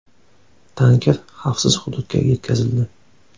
Tanker xavfsiz hududga yetkazildi.